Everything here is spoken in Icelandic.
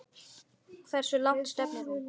Hversu langt stefnir hún?